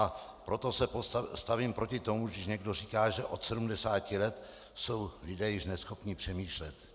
A proto se stavím proti tomu, když někdo říká, že od 70 let jsou lidé již neschopni přemýšlet.